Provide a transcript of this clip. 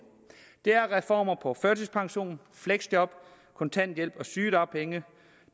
er reformer på førtidspension fleksjob kontanthjælp og sygedagpenge